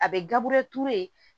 A bɛ gabure ture